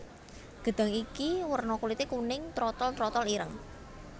Gedhang iki werna kulité kuning trotol trotol ireng